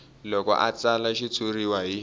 loko a tsala xitshuriwa hi